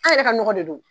An yɛrɛ ka nɔgɔ de don